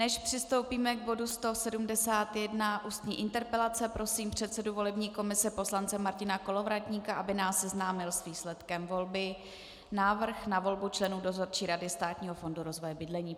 Než přistoupíme k bodu 171 Ústní interpelace, prosím předsedu volební komise poslance Martina Kolovratníka, aby nás seznámil s výsledkem volby Návrh na volbu členů Dozorčí rady Státního fondu rozvoje bydlení.